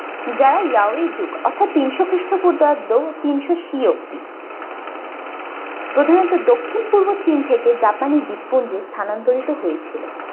যারা yaw যুগ অর্থাৎ তিনশো খ্রিস্টপূর্বাব্দ ও তিনশো C অবদি প্রধানত দক্ষিণ পূর্ব চীন থেকে japanese দ্বীপপুঞ্জ স্থানান্তরিত হয়েছিল।